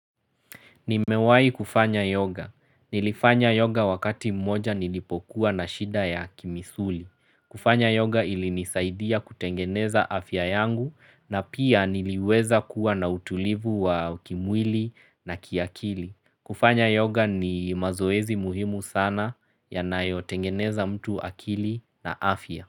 Nimewai kufanya yoga. Nilifanya yoga wakati mmoja nilipokuwa na shida ya kimisuli. Kufanya yoga ilinisaidia kutengeneza afya yangu na pia niliweza kuwa na utulivu wa kimwili na kiakili. Kufanya yoga ni mazoezi muhimu sana yanayotengeneza mtu akili na afya.